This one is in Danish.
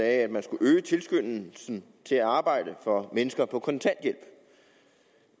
at man skal øge tilskyndelsen til at arbejde for mennesker på kontanthjælp